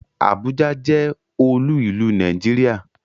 Àbújá jẹ́ olú ìlú Nàìjíríà